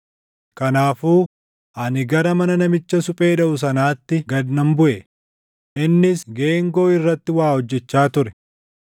Kanaafuu ani gara mana namicha suphee dhaʼu sanaatti gad nan buʼe; innis geengoo irratti waa hojjechaa ture.